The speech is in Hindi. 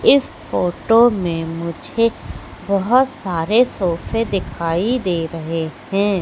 इस फोटो में मुझे बहोत सारे सोफे दिखाई दे रहे हैं।